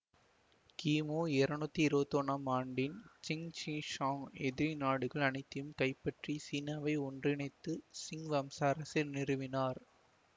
கிமு இருநூத்தி இருவத்தி ஒன்னாம் ஆண்டில் சின் ஷி ஷாங் எதிரி நாடுகள் அனைத்தையும் கைப்பற்றி சீனாவை ஒன்றிணைத்து சிங் வம்ச அரசை நிறுவினார்